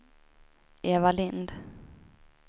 Eva Lindh